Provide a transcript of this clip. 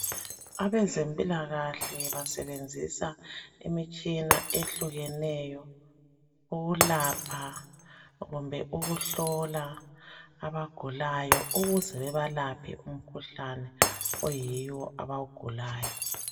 Abezempilakahle basebenzisa imitshina ehlukeneyo ukulapha kumbe ukuhlola abagulayo ukuze bebalaphe umkhuhlane oyiyo obawugulayo.